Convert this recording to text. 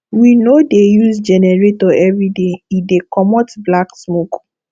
we no dey use generator everyday e dey comot black smoke